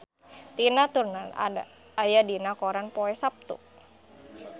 Tina Turner aya dina koran poe Saptu